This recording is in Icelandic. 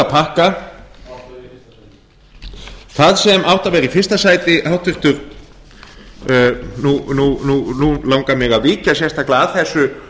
pakka þar sem áttu að vera í fyrsta sæti nú langar mig að víkja sérstaklega að þessu